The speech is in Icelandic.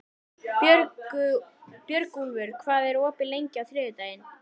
Björgúlfur, hvað er opið lengi á þriðjudaginn?